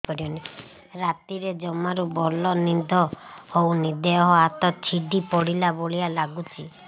ରାତିରେ ଜମାରୁ ଭଲ ନିଦ ହଉନି ଦେହ ହାତ ଛିଡି ପଡିଲା ଭଳିଆ ଲାଗୁଚି